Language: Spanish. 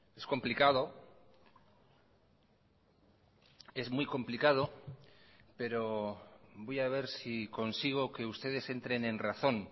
es complicado es muy complicado pero voy a ver si consigo que ustedes entren en razón